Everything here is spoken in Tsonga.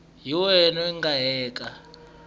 hi wena n winyi eka